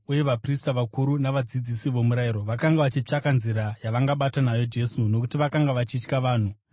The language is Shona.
uye vaprista vakuru navadzidzisi vomurayiro vakanga vachitsvaka nzira yavangabata nayo Jesu, nokuti vakanga vachitya vanhu.